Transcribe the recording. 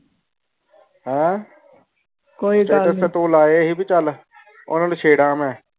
ਹਨ ਸਟੇਟਸ ਤੇ ਤੂੰ ਲਾਇ ਸੀ ਵੀ ਚਲ ਓਹਨਾ ਨੂੰ ਛੇੜਾ ਮੈ।